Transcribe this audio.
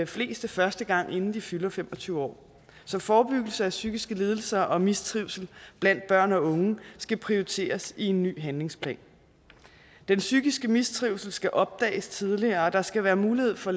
fleste første gang inden de fylder fem og tyve år så forebyggelse af psykiske lidelser og mistrivsel blandt børn og unge skal prioriteres i en ny handlingsplan den psykiske mistrivsel skal opdages tidligere og der skal være mulighed for